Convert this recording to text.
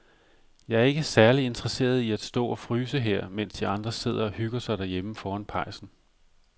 Jeg er ikke særlig interesseret i at stå og fryse her, mens de andre sidder og hygger sig derhjemme foran pejsen.